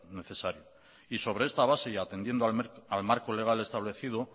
necesario y sobre esta base y atendiendo al marco legal establecido